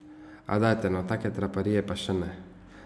A, dajte no, take traparije pa še ne!